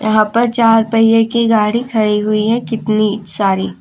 यहां पर चार पहिए की गाड़ी खड़ी हुई है कितनी सारी।